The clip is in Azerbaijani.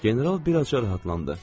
General birazca rahatlandı.